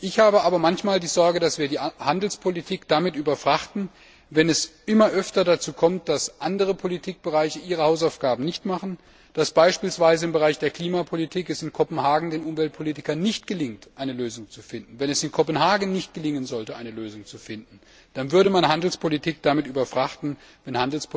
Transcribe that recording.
Ich habe aber manchmal die Sorge, dass wir die Handelspolitik damit überfrachten, wenn es immer öfter dazu kommt, dass andere Politikbereiche ihre Hausaufgaben nicht machen, dass es beispielsweise im Bereich der Klimapolitik den Umweltpolitikern in Kopenhagen nicht gelingt, eine Lösung zu finden. Wenn es in Kopenhagen nicht gelingen sollte, eine Lösung zu finden, dann würde man die Handelspolitik damit überfrachten, wenn